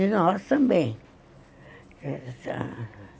E nós também.